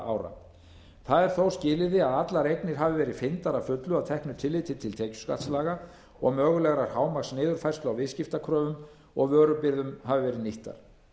það er þó skilyrði að allar eignir hafi verið fyrndar að fullu að teknu tilliti til tekjuskattslaga og að mögulegar hámarksniðurfærslur á viðskiptakröfum og vörubirgðum hafi verið nýttar